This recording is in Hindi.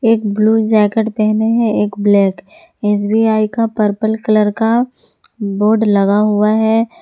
एक ब्लू जैकेट पहने हैं एक ब्लैक एस_बी_आई का पर्पल कलर का बोर्ड लगा हुआ है।